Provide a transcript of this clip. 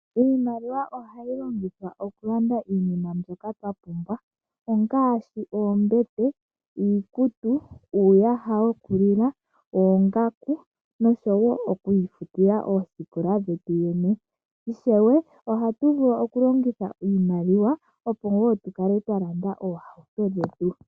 Iimaliwa ohayi longithwa okulanda iinima mbyoka twa pumbwa ngaashi oombete, iikutu, uuyaha wokulila, oongaku noshowo okuifutila oosikola dhetu yene. Ishewe ohatu vulu okulongitha iimaliwa, opo tu kale twa landa oohauto dhetu.